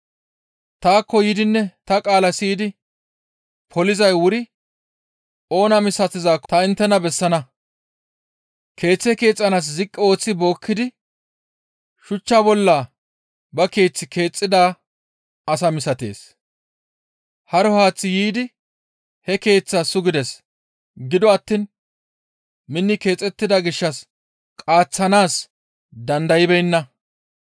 Taakko yiidinne ta qaala siyidi polizay wuri oona misatizaakko ta inttena bessana; keeththe keexxanaas ziqqi ooththi bookkidi shuchcha bollan ba keeth keexxida asa misatees. Haro haaththi yiidi he keeththaa sugides; gido attiin minni keexettida gishshas qaaththanaas dandaybeenna.